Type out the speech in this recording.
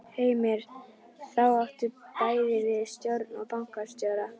Heimir: Þá áttu bæði við stjórn og bankastjóra?